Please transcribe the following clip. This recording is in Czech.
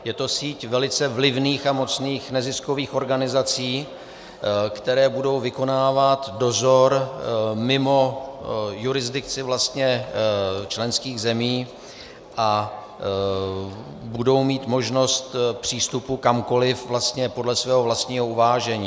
Je to síť velice vlivných a mocných neziskových organizací, které budou vykonávat dozor mimo jurisdikci členských zemí a budou mít možnost přístupu kamkoliv podle svého vlastního uvážení.